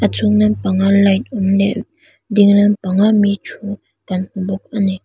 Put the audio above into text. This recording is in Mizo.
a chung lampang a light awm leh ding lampang a mi ṭhu kan hmu bawk a ni.